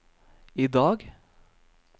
idag